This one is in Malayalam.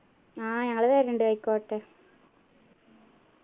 ആഹ് ഞങ്ങള് വരുണ്ട് അയ്‌ക്കോട്ടെ